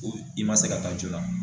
I ma se ka taa joona.